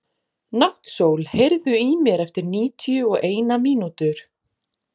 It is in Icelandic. Náttsól, heyrðu í mér eftir níutíu og eina mínútur.